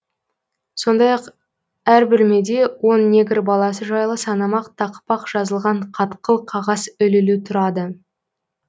сондай ақ әр бөлмеде он негр баласы жайлы санамақ тақпақ жазылған қатқыл қағаз ілулі тұрады